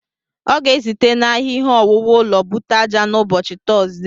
Ọ ga-esite n'ahịa ihe owuwu ụlọ bute ájá n'ụbọchị Tọzdee.